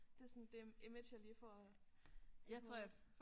Det sådan dem image jeg lige får i hovedet